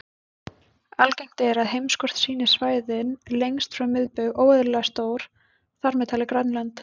Algengt er að heimskort sýni svæðin lengst frá miðbaug óeðlilega stór, þar með talið Grænland.